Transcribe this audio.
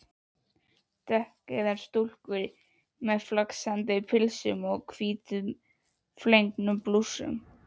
Dökkeygðar stúlkur í flaksandi pilsum og hvítum flegnum blússum.